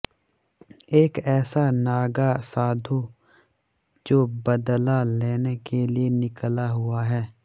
एक ऐसा नागा साधु जो बदला लेने के लिए निकला हुआ है